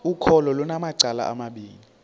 ukholo lunamacala amabini